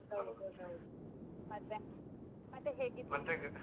ಹೌದು ಹೌದು, ಮತ್ತೆ ಮತ್ತೆ .